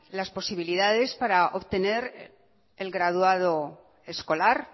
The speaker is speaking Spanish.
las posibilidades para obtener el graduado escolar